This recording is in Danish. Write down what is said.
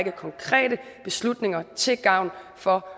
konkrete beslutninger til gavn for